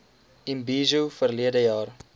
imbizo verlede jaar